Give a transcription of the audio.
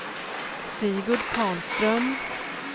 Sigurd Karlström